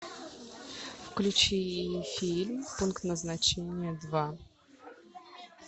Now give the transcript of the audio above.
включи фильм пункт назначения два